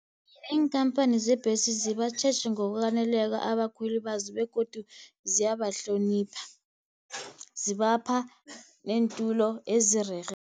Iinkhamphani zeembhesi zibatjheji ngokwaneleko abakhweli bazo, begodu ziyabahlonipha, zibapha neentolo ezirerhe.